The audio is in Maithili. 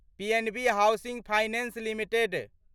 PNB housing finance limited